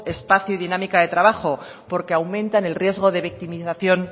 espacio y dinámica de trabajo porque aumentan el riesgo de victimización